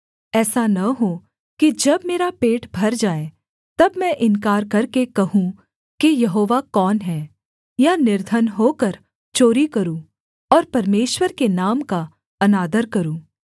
ऐसा न हो कि जब मेरा पेट भर जाए तब मैं इन्कार करके कहूँ कि यहोवा कौन है या निर्धन होकर चोरी करूँ और परमेश्वर के नाम का अनादर करूँ